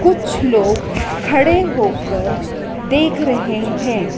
कुछ लोग खड़े होकर देख रहे हैं।